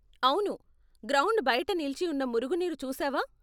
అవును, గ్రౌండ్ బయట నిలిచి ఉన్న మురుగునీరు చూసావా?